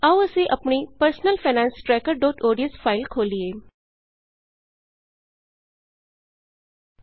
ਆਉ ਅਸੀਂ ਆਪਣੀ personal finance tracker dot ODS personal finance trackerਓਡੀਐਸ ਫਾਇਲ ਖੋਲ੍ਹੀਏ